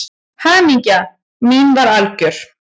Hamingja mín var algjör.